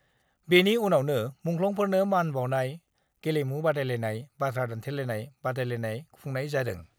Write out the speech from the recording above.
बेनि उनावनो मुंख्लंफोरनो मान बाउनाय, गेलेमु बादायलायनाय, बाथ्रा दान्थेलाइनाय बादायलायनाय खुंनाय जादों।